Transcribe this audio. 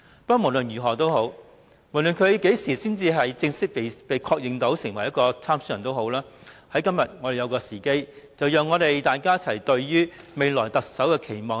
他們何時才正式被確認為參選人仍未可知，但今天卻是一個好時機讓大家談談對未來特首的期望。